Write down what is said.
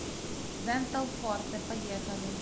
дентал форте поехали